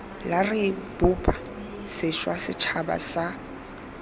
re bopa sešwa setšhaba sa